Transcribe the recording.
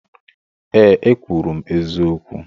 Ee, ekwuru m eziokwu.